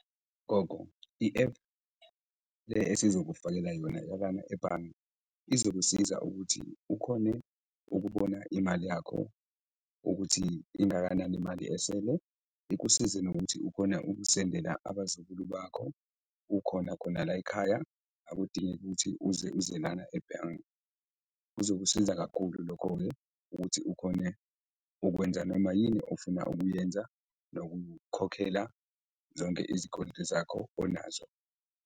Gogo, i-app le esizokufakela yona ebhange, izokusiza ukuthi ukhone ukubona imali yakho ukuthi ingakanani imali esele, ikusize nokuthi ukhona ukusendela abazukulu bakho ukhona khona la ekhaya, akudingeki ukuthi uze uze lana ebhange. Kuzokusiza kakhulu lokho-ke ukuthi ukhone ukwenza noma yini ofuna ukuyenza nokukhokhela zonke izikweletu zakho onazo.